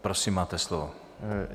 Prosím, máte slovo.